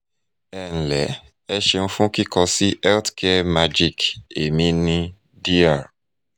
"ẹ nle e seun fun kikọ si health care magic emi ni dr